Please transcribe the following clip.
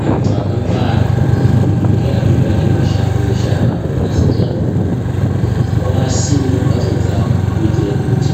Antu akangwara ngeanotsvake mashango eshe angaporese utano hwemuntu oasima mumhatso dzawo kuitira kuti